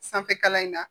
Sanfɛkalan in na